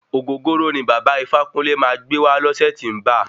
Ògógóró ní bàba Ifákúnle máa gbé wá lọsẹ tí ń ba.